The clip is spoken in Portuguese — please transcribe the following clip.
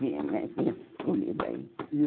Tinha essas comidas aí.